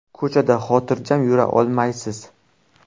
Ko‘chada xotirjam yura olmaysiz.